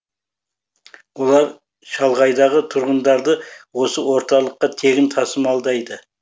олар шалғайдағы тұрғындарды осы орталыққа тегін тасымалдайды